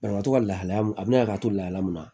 Banabagatɔ ka lahalaya mun a bina ka to lahala min na